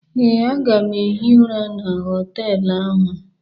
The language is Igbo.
Ee, m ga-ehi ụra na họtelụ ahụ.